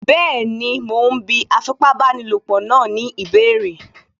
Bẹ́ẹ̀ni, mo ún bí afipábanílòpọ̀ náà ní ìbéèrè